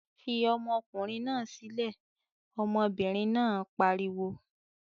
"Fi ọmọkùnrin náà sílẹ̀!" Ọmọbìnrin náà pariwo.